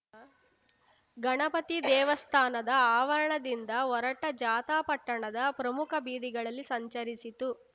ಗಣಪತಿ ದೇವಸ್ಥಾನದ ಆವರಣದಿಂದ ಹೊರಟ ಜಾಥಾ ಪಟ್ಟಣದ ಪ್ರಮುಖ ಬೀದಿಗಳಲ್ಲಿ ಸಂಚರಿಸಿತು